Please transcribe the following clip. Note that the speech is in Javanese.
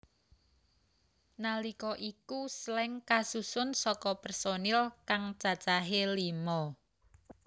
Nalika iku Slank kasusun saka personil kang cacahé lima